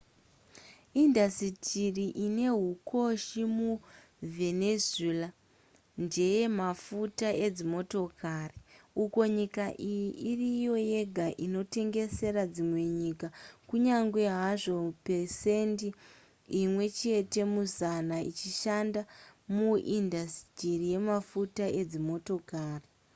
indasitiri ine hukoshi muvenezuela ndeye mafuta edzimotokari uko nyika iyi iriyo yega inotengesera dzimwe nyika kunyange hazvo pesendi imwe chete muzana ichishanda muindasitiri yemafuta edzimotokari